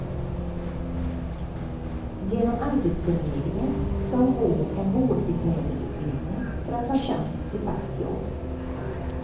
Genom arbetsförmedlingen ska hon gå en vårdbiträdesutbildning för att ha chans till fast jobb.